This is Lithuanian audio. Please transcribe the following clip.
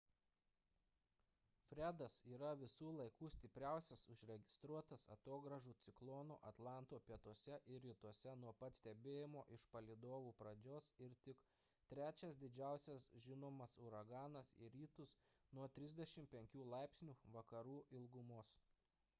fredas yra visų laikų stipriausias užregistruotas atogrąžų ciklonas atlanto pietuose ir rytuose nuo pat stebėjimo iš palydovų pradžios ir tik trečias didžiausias žinomas uraganas į rytus nuo 35° vakarų ilgumos